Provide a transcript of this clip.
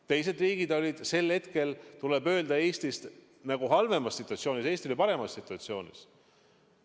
Teised riigid olid sel hetkel, tuleb öelda, Eestist halvemas situatsioonis, Eesti oli paremas situatsioonis.